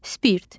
Spirt.